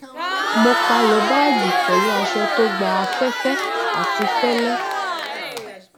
mo palẹ báàgì pẹlú aṣọ tó gba afẹfẹ àti fẹlẹ